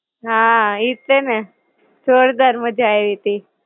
હાં, ઈજ છે ને. જોરદાર મજા આયવી તી.